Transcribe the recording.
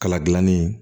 Kala gilanni